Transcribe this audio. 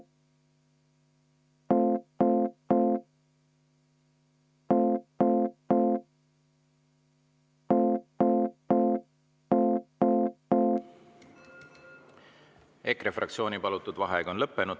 EKRE fraktsiooni võetud vaheaeg on lõppenud.